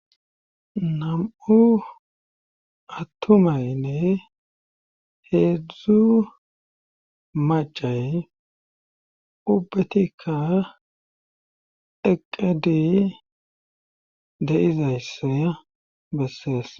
nam7u attumaynne heedzdzu macay ubbetikka eqedi de'izaysse besseess